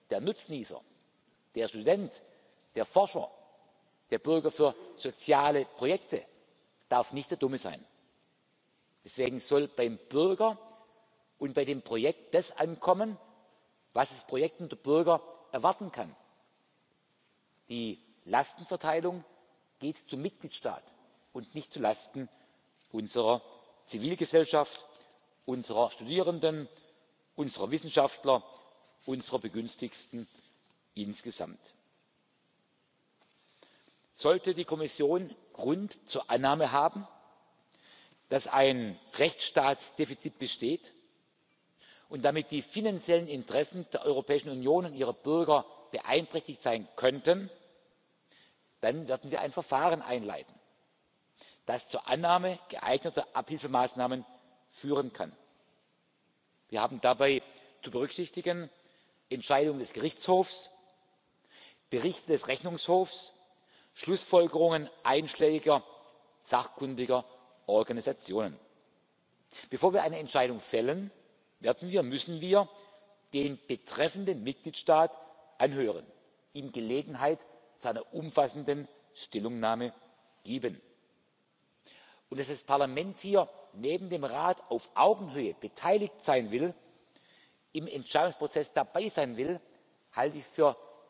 Der Bürger, der Nutznießer, der Student, der Forscher, der Träger von sozialen Projekten darf nicht der Dumme sein. Deswegen soll beim Bürger und bei dem Projekt das ankommen, was das Projekt und der Bürger erwarten können. Die Lastenverteilung geht zum Mitgliedstaat und nicht zulasten unserer Zivilgesellschaft, unserer Studierenden, unserer Wissenschaftler, unserer Begünstigten insgesamt. Sollte die Kommission Grund zur Annahme haben, dass ein Rechtsstaatsdefizit besteht und damit die finanziellen Interessen der Europäischen Union und ihrer Bürger beeinträchtigt sein könnten, dann werden wir ein Verfahren einleiten, das zur Annahme geeigneter Abhilfemaßnahmen führen kann. Wir haben dabei zu berücksichtigen Entscheidungen des Gerichtshofs, Berichte des Rechnungshofs, Schlussfolgerungen einschlägiger sachkundiger Organisationen. Bevor wir eine Entscheidung fällen, werden und müssen wir den betreffenden Mitgliedstaat anhören, ihm Gelegenheit zu einer umfassenden Stellungnahme geben. Und dass das Parlament hier neben dem Rat auf Augenhöhe beteiligt sein will, im Entscheidungsprozess dabei sein